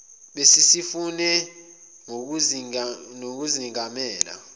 besi sifune nokuzengamela